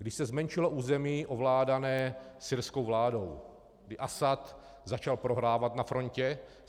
Když se zmenšilo území ovládané syrskou vládou, kdy Asad začal prohrávat na frontě.